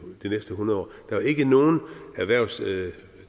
næste hundrede år der var ikke nogen erhvervsdrivende